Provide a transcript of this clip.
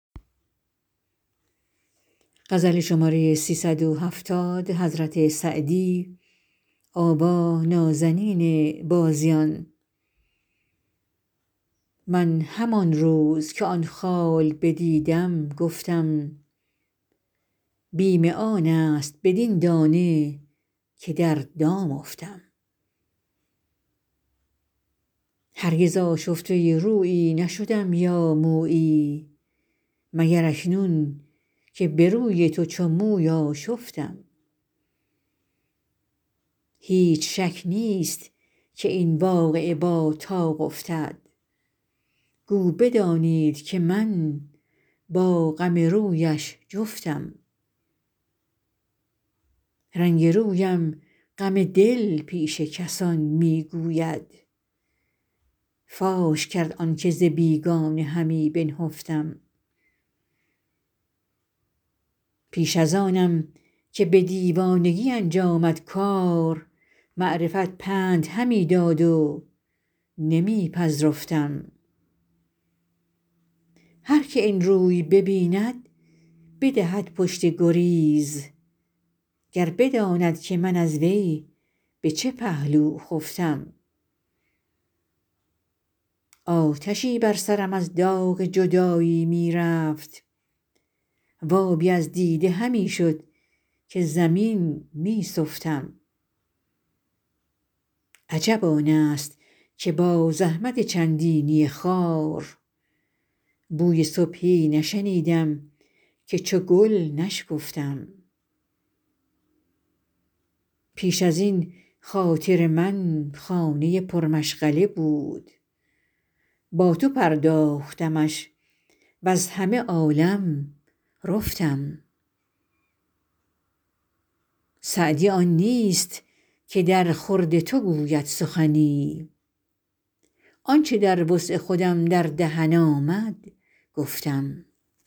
من همان روز که آن خال بدیدم گفتم بیم آن است بدین دانه که در دام افتم هرگز آشفته رویی نشدم یا مویی مگر اکنون که به روی تو چو موی آشفتم هیچ شک نیست که این واقعه با طاق افتد گو بدانید که من با غم رویش جفتم رنگ رویم غم دل پیش کسان می گوید فاش کرد آن که ز بیگانه همی بنهفتم پیش از آنم که به دیوانگی انجامد کار معرفت پند همی داد و نمی پذرفتم هر که این روی ببیند بدهد پشت گریز گر بداند که من از وی به چه پهلو خفتم آتشی بر سرم از داغ جدایی می رفت و آبی از دیده همی شد که زمین می سفتم عجب آن است که با زحمت چندینی خار بوی صبحی نشنیدم که چو گل نشکفتم پیش از این خاطر من خانه پرمشغله بود با تو پرداختمش وز همه عالم رفتم سعدی آن نیست که درخورد تو گوید سخنی آن چه در وسع خودم در دهن آمد گفتم